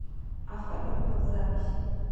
автогруппа запись